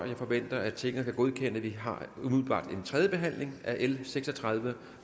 jeg forventer at tinget derefter kan godkende at vi har en tredje behandling af l seks og tredive